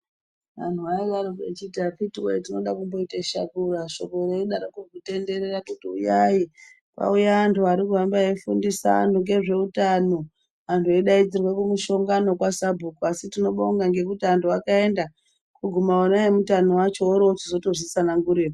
Anhu ainga echiti akiti woye tinode kumboite shakura shoko reidaro kutenderera kuti uyai kwauya antu ari kuhamba eifundisa antu zveutani kusvika eutano antu eidaidzirwa kumushongano kwasabhuku asi tinobonga ngekuti antu akaenda kuguma ona eutano acho orozvitsanagureyo.